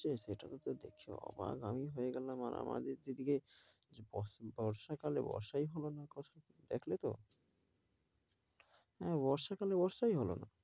শেষ যেটা উত্তর দিক সহ, আমি হয়ে গেলাম আমাদের দিকে বর্ষা কালে বর্ষাই হলো না কখনো দেখলে তো। হ্যাঁ বর্ষা কালে বর্ষাই হলো না।